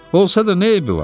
Olsa da nə eybi var?